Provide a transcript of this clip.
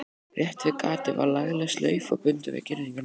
Rétt við gatið var lagleg slaufa bundin við girðinguna.